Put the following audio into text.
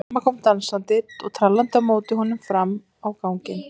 Mamma kom dansandi og trallandi á móti honum fram á ganginn.